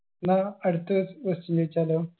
എന്നാ അടുത്തത് question ചോയിച്ചാലോ